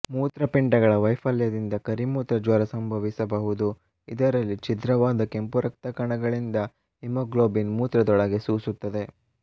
ಮೂತ್ರಪಿಂಡಗಳ ವೈಫಲ್ಯದಿಂದ ಕರಿಮೂತ್ರ ಜ್ವರ ಸಂಭವಿಸಬಹುದು ಇದರಲ್ಲಿ ಛಿದ್ರವಾದ ಕೆಂಪು ರಕ್ತ ಕಣಗಳಿಂದ ಹಿಮೊಗ್ಲಾಬಿನ್ ಮೂತ್ರದೊಳಗೆ ಸೂಸುತ್ತದೆ